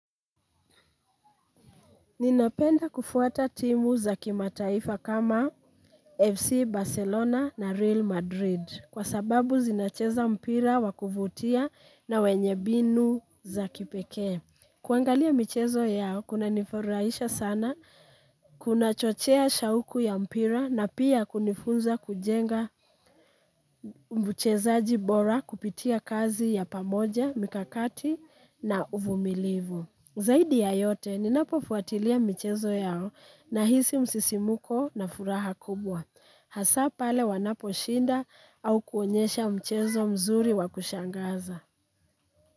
Ninapenda kufuata timu za kimataifa kama FC Barcelona na Real Madrid. Kwa sababu zinacheza mpira wakuvutia na wenye mbinu za kipekee. Kuangalia michezo yao, kuna nifurahisha sana. Kuna chochea shahuku ya mpira na pia kunifunza kujenga mchezaji bora kupitia kazi ya pamoja mikakati na uvumilivu zaidi ya yote, ninapo fuatilia michezo yao nahisi msisimuko na furaha kubwa. Hasa pale wanapo shinda au kuonyesha mchezo mzuri wakushangaza.